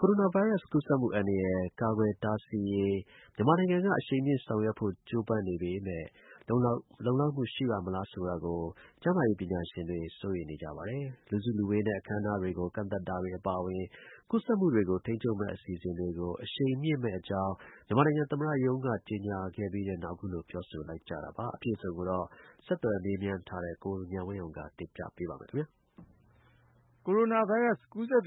ကိုရိုနာဗိုင်းရပ်စ် ကူးစက်မှုအန္တရာယ် ကာကွယ်တားဆီးရေး မြန်မာနိုင်ငံက အရှိန်မြှင့်ဆောင်ရွက်ဖို့ ကြိုးပမ်းနေပေမဲ့ လုံလောက်မှု ရှိပါ့မလားဆိုတာကို ကျန်းမာရေး ပညာရှင်တွေ စိုးရိမ်နေကြပါတယ်။ လူစုလူဝေးနဲ့ အခမ်းအနားတွေကို ကန့်သတ်တာတွေ အပါအဝင် ကူးစက်မှုတွေကို ထိန်းချုပ်မယ့် အစီအစဉ်တွေကို အရှိန်မြှင့်မယ့်အကြောင်း မြန်မာသမ္မတရုံးက ကြေညာခဲ့ပြီးနောက် အခုလို ပြောဆိုလိုက်ကြတာပါ။ အပြည့်အစုံကိုတော့ ဆက်သွယ် မေးမြန်းထားတဲ့ ကိုဉာဏ်ဝင်းအောင်က တင်ပြပါမယ်။ ကိုရိုနာဗိုင်းရပ်စ် ကူးစက်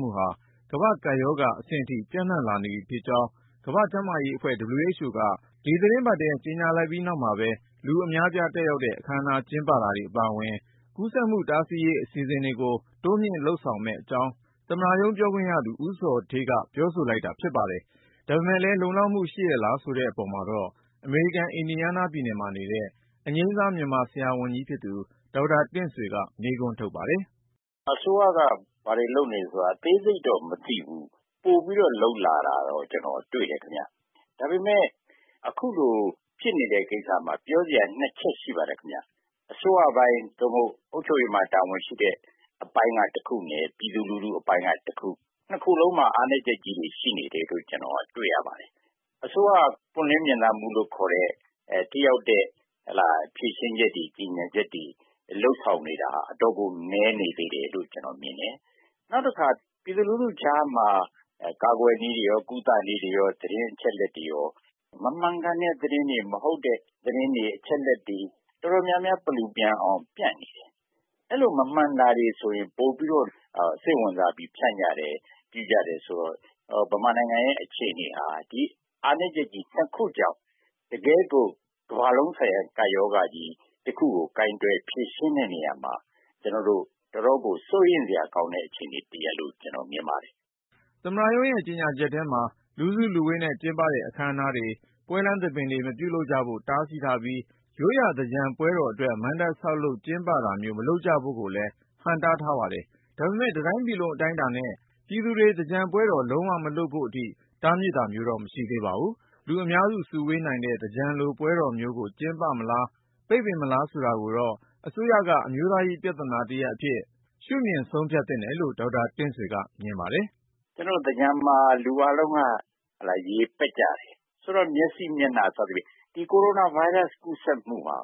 မှုဟာ ကမ္ဘာ့ကပ်ရောဂါအဆင့်အထိ ပျံ့နှံ့လာနေပြီဖြစ်ကြောင်း ကမ္ဘာ့ကျန်းမာရေးအဖွဲ့ က ဒီသီတင်းပတ်ထဲ ကြေညာပြီးနောက်မှာပဲ လူအများအပြား တက်ရောက်တဲ့ အခမ်းအနား ကျင်းပတာတွေ အပါအဝင် ကူးစက်မှုတားဆီးရေး အစီအစဉ်တွေကို တိုးမြှင့်ဆောင်ရွက်မယ့်အကြောင်း သမ္မတရုံးပြောခွင့်ရသူ ဦးဇော်ဌေးက ပြောဆိုလိုက်တာ ဖြစ်ပါတယ်။ ဒါပေမဲ့လည်း လုံလောက်မှု ရှိရဲ့လား ဆိုတဲ့အပေါ်မှာတော့ အမေရိကန် အင်ဒီယားနားပြည်နယ်မှာနေတဲ့ အငြိမ်းစား မြန်မာ ဆရာဝန်ကြီးဖြစ်သူ ဒေါက်တာ တင့်ဆွေ ကမေးခွန်းထုတ်ပါတယ်။ “အစိုးရက ဘာတွေလုပ်နေသလဲဆိုတာကတော့ အသေးစိတ်တော့ မသိဘူး။ ပိုပြီးတော့ လုပ်လာတာကတော့ ကျနော်တွေ့တယ်ခင်ဗျ။ ဒါပေမယ့် အခုလို ဖြစ်နေတဲ့ ကိစ္စမှာ ပြောစရာ ၂ ချက်ရှိပါတယ်။ အစိုးရပိုင်း သို့မဟုတ် အုပ်ချုပ်ရေးပိုင်းမှာ တာဝန်ရှိတဲ့ အပိုင်းက တခုနဲ့ ပြည်သူလူထုအပိုင်းက တခု ။ ၂ ခုစလုံးမှာ အားနည်းချက်တွေ ရှိနေတယ်လို့ ကျနော် တွေ့ရတယ်။ အစိုးရက ပွင့်လင်းမြင်သာမှုလို့ ခေါ်တဲ့ ထိရောက်တဲ့ဖြေရှင်းချက်တွေ ကြေညာချက်တွေ လုပ်ဆောင်နေတာက အတော်ကို နည်းနေသေးတယ် လို့ ကျနော်မြင်တယ်။ နောက်တခါ ပြည်သူလူထုကြားမှာ ကာကွယ်နည်း ၊ ကုသနည်း သတင်းအချက်အလက်တွေရော မမှန်ကန်တဲ့သတင်းတွေ၊ မဟုတ်တဲ့သတင်းတွေ အချက်အလက်တွေ တော်တေ်ာများများ ပလူပျံအောင် ဖြန့်နေတယ်။ အဲလို မမှန်တာတွေဆိုရင် ပိုပြီးတော့ စိတ်ဝင်စားပြီး ဖြန့်ကြတယ်ဆိုတော့ မြန်မာနိုင်ငံရဲ့ အခြေအနေဟာ ဒီအားနည်းချက် ၂ ခုကြောင့် တကယ့်ကို ကမ္ဘာလုံးဆိုင်ရာ ကပ်ရောဂါတခုကို ကိုင်တွယ် ဖြေရှင်းတဲ့နေရာမှာ တော်တော်ကို စိုးရိမ်စရာကောင်းတဲ့ အခြေအနေတရပ်လို့ မြင်ပါတယ်။” သမ္မတရုံးရဲ့ ကြေညာချက်ထဲမှာ လူစုလူဝေးနဲ့ကျင်းပတဲ့ အခမ်းအနားတွေ၊ ပွဲလမ်းသဘင်တွေ မပြုလုပ်ကြဖို့ တားမြစ်ထားပြီး၊ ရိုးရာသင်္ကြန်ပွဲတော်အတွက် မဏ္ဍပ်ဆောက်လုပ် ကျင်းပတာမျိုး မလုပ်ကြဖို့ကိုလည်း ဟန့်တားထားပါတယ်။ ဒါပေမဲ့ တတိုင်းပြည်လုံးအတိုင်းအတာနဲ့ ပြည်သူတွေ သင်္ကြန်ပွဲတော် လုံးဝ မလုပ်ဖို့အထိ တားမြစ်တာမျိုးတော့ မရှိသေးပါဘူး။ လူအများစုဝေးနိုင်တဲ့ သင်္ကြန်လိုပွဲတော်မျိုးကို ကျင်းပမလား ပိတ်ပင်မလားဆိုတာကိုတော့ အစိုးရက အမျိုးသားရေး ပြဿနာတရပ်အဖြစ် ရှုမြင် ဆုံးဖြတ်သင့်တယ်လို့ ဒေါက်တာ တင့်ဆွေကမြင်ပါတယ်။ “ ကျနော်တို့ သင်္ကြန်မှာ လူအားလုံးက ရေပက်ကြတယ်။ ဆိုတော့ မျက်စိ ၊ မျက်နှာ စသဖြင့် ကိုရိုနာဗိုင်းရပ်စ် ကူးစက်မှုဟာ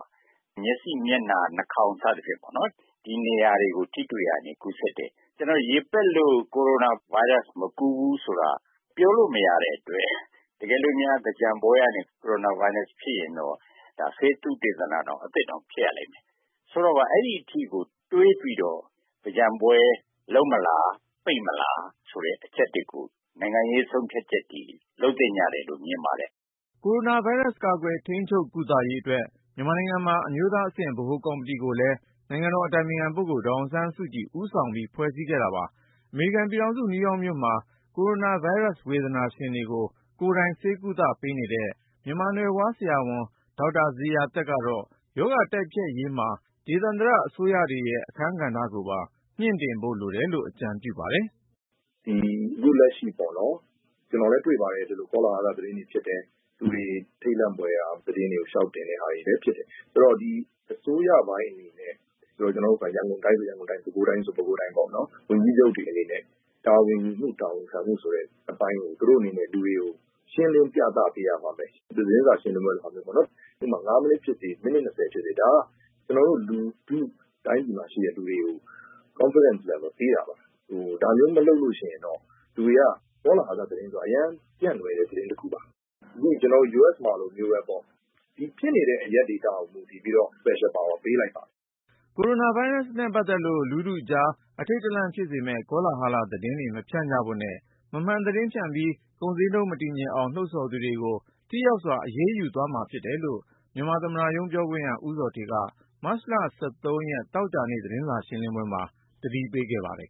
မျက်စိ ၊ မျက်နှာ၊ နှာခေါင်း စသဖြင့်ပေါ့နော် ဒီနေရာတွေကို ထိတွေ့တာကနေ ကူးစက်တယ်။ ကျနေ်ာတို့ ရေပက်လို့ ကိုရိုနာဗိုင်းရပ်စ် မကူးဘူးဆိုတာက ပြောလို့မရတဲ့အတွက် တကယ်လို့များ သင်္ကြန်ပွဲကနေ ကိုရိုနာဗိုင်းရပ်စ် ဖြစ်ရင်တော့ ဒါက ဆေးသုတေသနတောင် အသစ်ဖြစ်ရလိမ့်မယ်။ ဆိုတော့ အဲဒီအထိကို တွေးပြီးတော့ သင်္ကြန်ပွဲလုပ်မလား ၊ ပိတ်မလား ဆိုတဲ့ အချက်တွေကို နိုင်ငံရေး ဆုံးဖြတ်ချက်တွေ လုပ်သင့်တယ်လို့ မြင်ပါတယ်။” ကိုရိုနာဗိုင်းရပ်စ် ကာကွယ်၊ ထိန်းချုပ်၊ ကုသရေးအတွက် မြန်မာနိုင်ငံမှာ အမျိုးသားအဆင့် ဗဟိုကော်မတီကိုလည်း နိုင်ငံတော် အတိုင်ပင်ခံပုဂ္ဂိုလ်ဒေါ်အောင်ဆန်းစုကြည် ဦးဆောင်ပြီး ဖွဲ့စည်းခဲ့တာပါ။ အမေရိကန်ပြည်ထောင်စု နယူးယောက်မြို့မှာ ကိုရိုနာဗိုင်းရပ်စ် ဝေဒနာရှင်တွေကို ကိုယ်တိုင်ဆေးကုသပေးနေတဲ့ မြန်မာနွယ်ဖွား ဆရာဝန် ဒေါက်တာ ဇေယျာသက်ကတော့ ရောဂါတိုက်ဖျက်ရေးမှာ ဒေသန္တရအစိုးရတွေရဲ့ အခမ်းကဏ္ဍကိုပါ မြှင့်တင်ဖို့လိုတယ်လို့ အကြံပြုပါတယ်။ “အခုလက်ရှိ ကျနော်လည်း တွေ့ပါတယ် ကောလဟာလ သတင်းတွေ ဖြစ်တယ်။ လူတွေ ထိတ်လန့်ဖွယ်ရာ သတင်းတွေကို လျှောက်တင်တာတွေလည်း ဖြစ်တယ်။ ဆိုတော့ အစိုးရပိုင်းအနေနဲ့ ရန်ကုန်တိုင်းဆိုရင် ရန်ကုန်တိုင်း၊ ပဲခူးတိုင်းဆိုရင် ပဲခူးတိုင်း ဝန်ကြီးချုပ်တွေအနေနဲ့ တာဝန်ခံမှု တာဝန်ယူမှု အပိုင်းတွေ သူတို့အနေနဲ့ လူတွေကို ရှင်းလင်းပြသပေးရမယ်။ သတင်းစာရှင်းလင်းပွဲလုပ်တာမျိုးပေါ့နော် ဥပမာ ၅ မိနှစ်ဖြစ်စေ၊ ၁၀ မိနှစ်ဖြစ်စေ ဒါက ကျနော်တို့ တိုင်းပြည်မှာရှိတဲ့ လူတွေကို Confidence level ပေးတာပါ။ ဒါမျိုးမလုပ်ရင်တော့ ကောလဟာလဆိုတာက အရမ်းပြန့်လွယ်တဲ့ သတင်းတခုပါ ။ ဒီနေ့ ကျနော်တို့ US မှာလိုပေါ့ ဖြစ်နေတဲ့ အရပ်ဒေသကို မူတည်ပြီးတော့ special power ပေးလိုက်ပါတယ်။” ကိုရိုနာဗိုင်းရပ်စ်နဲ့ပတ်သက်လို့ လူထုကြား အထိန့်တလန့်ဖြစ်စေမယ့် ကောလာဟလသတင်းတွေ မဖြန့်ကြဖို့နဲ့ မမှန်သတင်းဖြန့်ပြီး ကုန်ဈေးနှုန်း မတည်ငြိမ်အောင် လှုံ့ဆော်သူတွေကို ထိရောက်စွာ အရေးယူသွားမှာဖြစ်တယ်လို့ မြန်မာသမ္မတရုံး ပြောခွင့်ရ ဦးဇော်ဌေးက မတ်လ သောကြာနေ့ သတင်းစာရှင်းလင်းပွဲမှာ သတိပေးထားပါတယ်